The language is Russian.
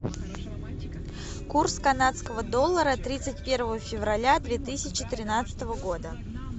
курс канадского доллара тридцать первого февраля две тысячи тринадцатого года